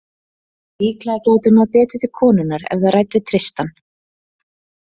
Líklega gæti hún náð betur til konunnar ef þær ræddu Tristan.